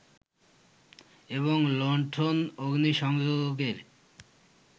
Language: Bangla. এবং লুন্ঠন-অগ্নিসংযোগের